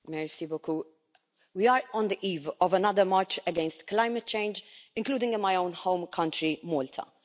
Madam President, we are on the eve of another march against climate change, including in my own home country, Malta.